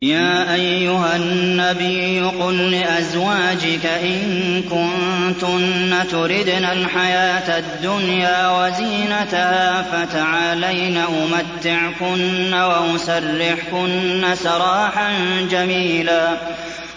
يَا أَيُّهَا النَّبِيُّ قُل لِّأَزْوَاجِكَ إِن كُنتُنَّ تُرِدْنَ الْحَيَاةَ الدُّنْيَا وَزِينَتَهَا فَتَعَالَيْنَ أُمَتِّعْكُنَّ وَأُسَرِّحْكُنَّ سَرَاحًا جَمِيلًا